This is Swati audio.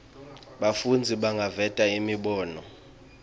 bafundzi bangaveta imibono